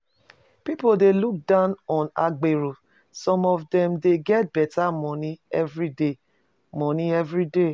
Pipo dey look down on agbero, some of dem dey get better money everyday money everyday